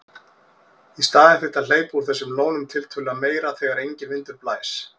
Í staðinn þyrfti að hleypa úr þessum lónum tiltölulega meira þegar enginn vindur blæs.